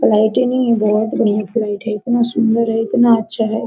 Flight ही नहीं है बहुत बढ़िया फ्लाइट है इतना सुन्दर है इतना अच्छा है।